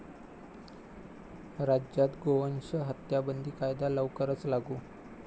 राज्यात गोवंश हत्याबंदी कायदा लवकरच लागू?